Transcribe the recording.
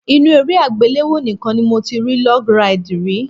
Inú eré àgbéléwò nìkan ni mo ti rí log ride rí.